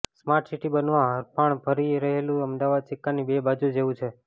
smart city બનવા હરણફાળ ભરી રહેલું અમદાવાદ સિક્કાની બે બાજુ જેવું છે